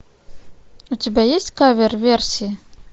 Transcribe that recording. у тебя есть кавер версии